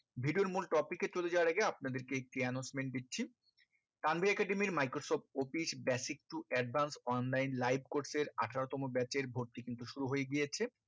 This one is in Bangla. video র মূল topic এ চলে যাওয়ার আগে আপনাদের কে একটি announcement দিচ্ছি কান্দি academy র microsoft office basic to advanced online live course এর আঠারো তম bache এর ভর্তি কিন্তু শুরু হয়ে গিয়েছে